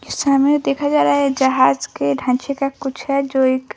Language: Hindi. समय देखा जा रहा है जहाज़ के ढांचे का कुछ है जो एक--